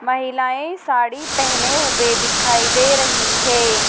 महिलाएं साड़ी पहने हुए दिखाई दे रही है।